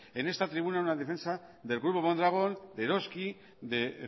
en esta tribuna una defensa del grupo mondragón de eroski de